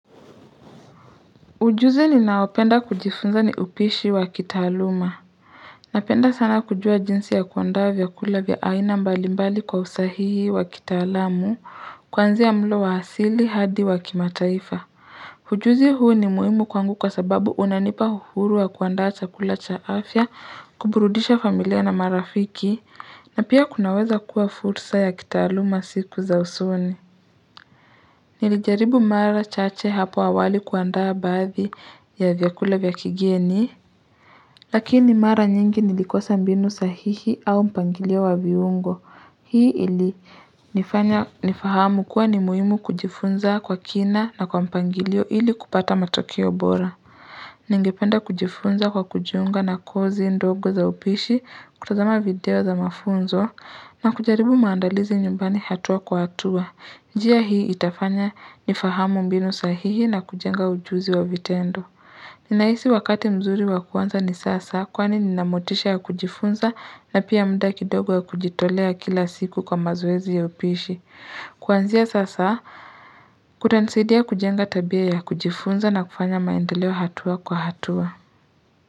Ujuzi ninaopenda kujifunza ni upishi wa kitaaluma napenda sana kujua jinsi ya kuandaa vyakula vya aina mbalimbali kwa usahihi wa kitaalamu kuanzia mlo wa asili hadi wa kimataifa ujuzi huu ni muhimu kwangu kwa sababu unanipa uhuru wa kuandaa chakula cha afya, kuburudisha familia na marafiki na pia kunaweza kuwa fursa ya kitaaluma siku za usoni Nilijaribu mara chache hapo awali kuandaa baadhi ya vyakula vya kigeni, lakini mara nyingi nilikosa mbinu sahihi au mpangilio wa viungo. Hii ilinifanya nifahamu kuwa ni muhimu kujifunza kwa kina na kwa mpangilio ili kupata matokeo bora. Ningependa kujifunza kwa kujiunga na kozi ndogo za upishi, kutazama video za mafunzo na kujaribu maandalizi nyumbani hatua kwa hatua. Njia hii itafanya nifahamu mbinu sahihi na kujenga ujuzi wa vitendo. Ninahisi wakati mzuri wa kuanza ni sasa kwani nina motisha ya kujifunza na pia mda kidogo ya kujitolea kila siku kwa mazoezi ya upishi. Kuanzia sasa kutanisaidia kujenga tabia ya kujifunza na kufanya maendeleo hatua kwa hatua.